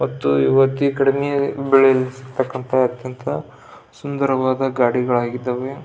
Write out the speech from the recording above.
ಮತ್ತು ಇವತ್ತು ಕಡಿಮೆ ಬೆಲೆಯಿರತಕ್ಕಂಥ ಸುಂದರವಾದ ಗಾಡಿಗಳಿದ್ದವೆ.